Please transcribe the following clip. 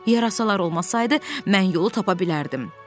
Yarasalar olmasaydı, mən yolu tapa bilərdim.